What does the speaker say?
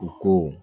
U ko